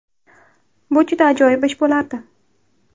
Bu juda ajoyib ish bo‘lardi”.